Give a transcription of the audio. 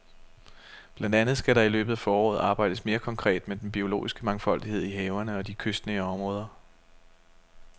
Blandt andet skal der i løbet af foråret arbejdes mere konkret med den biologiske mangfoldighed i havene og i de kystnære områder.